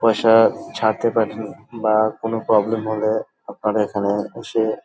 পয়সা ছাড়তে পারেন বা কোন প্রবলেম হলে আপনারা এখানে এসে--